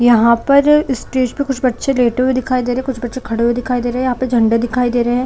यहाँ पर स्टेज पे कुछ बैठे हुए दिखाई दे रहे है कुछ बच्चे खड़े हुए दिखाई दे रहा है यहाँ पर झंडे दिखाई दे रहे है।